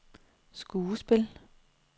skuespil